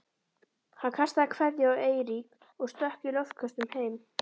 Hann kastaði kveðju á Eirík og stökk í loftköstum heim.